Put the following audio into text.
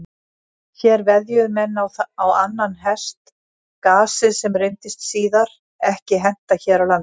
Hér veðjuðu menn á annan hest, gasið, sem reyndist síðar ekki henta hér á landi.